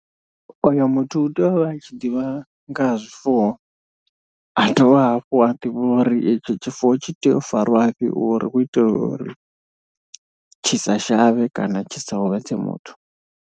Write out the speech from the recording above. Oyo muthu u tea u vha a tshi ḓivha nga ha zwifuwo a dovha hafhu a ḓivha uri etshi tshifuwo tshi tea u fariwa fhi uri u itela uri tshi sa shavhe kana tshi sa huvhadze muthu.